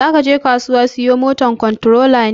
Zakaje kasuwa siyo moto kontorola ne?